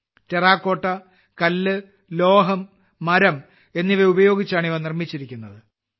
terracotta കല്ല് ലോഹം മരം എന്നിവ ഉപയോഗിച്ചാണ് ഇവ നിർമ്മിച്ചിരിക്കുന്നത്